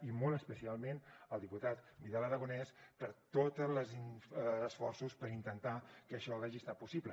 i molt especialment al diputat vidal aragonés per tots els esforços per intentar que això hagi estat possible